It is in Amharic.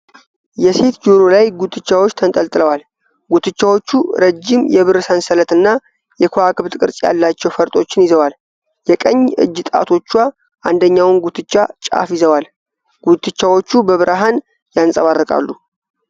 የሴት ጆሮ ላይ ጉትቻዎች ተንጠልጥለዋል። ጉትቻዎቹ ረጅም የብር ሰንሰለት እና የከዋክብት ቅርጽ ያላቸው ፈርጦችን ይዘዋል። የቀኝ እጅ ጣቶቿ የአንደኛውን ጉትቻ ጫፍ ይዘዋል። ጉትቻዎቹ በብርሃን ያንፀባርቃሉ።